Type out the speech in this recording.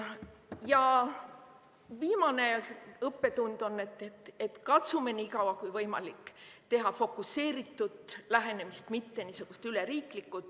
Ja viimane õppetund on see, et katsume nii kaua, kui võimalik, teha fokuseeritud lähenemist, mitte niisugust üleriiklikku.